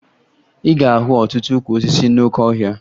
Ị ga-ahụ ọtụtụ ukwu osisi n'oke ọhịa